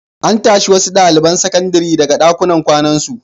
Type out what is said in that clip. An tashi wasu ɗaliban sakandare daga ɗakunan kwanan su.